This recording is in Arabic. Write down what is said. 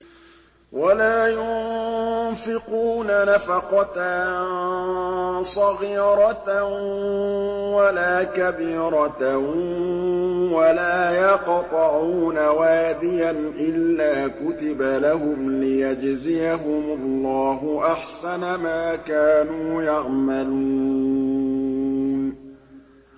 وَلَا يُنفِقُونَ نَفَقَةً صَغِيرَةً وَلَا كَبِيرَةً وَلَا يَقْطَعُونَ وَادِيًا إِلَّا كُتِبَ لَهُمْ لِيَجْزِيَهُمُ اللَّهُ أَحْسَنَ مَا كَانُوا يَعْمَلُونَ